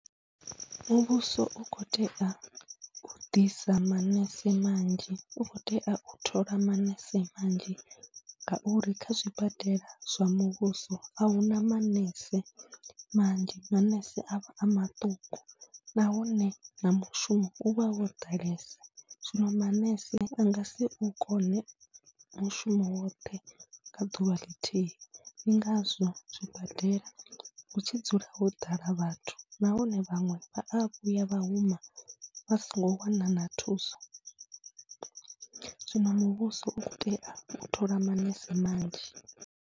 Muvhuso u khou tea u ḓisa manese manzhi, u khou tea u thola manese manzhi ngauri kha zwibadela zwa muvhuso a hu na manese manzhi, manese a vha a maṱuku nahone na mushumo u vha wo ḓalesa. Zwino manese a nga si u kone mushumo woṱhe kha ḓuvha ḽithihi, ndi ngazwo zwibadela hu tshi dzula ho ḓala vhathu nahone vhaṅwe vha a vhuya vha huma vha songo wana na thuso. Zwino muvhuso u khou tea u thola manese manzhi.